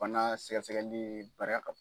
Bana sɛgɛsɛgɛli baara ka